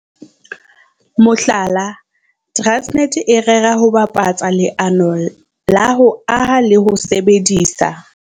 Mohlala, Transnet e rera ho bapatsa leano la ho aha le ho sebedisa